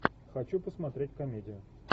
хочу посмотреть комедию